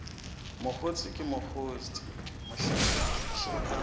mokgotse ke mokgotse mlahlekisi a